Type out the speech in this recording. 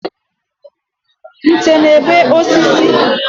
Nte na-ebe osisi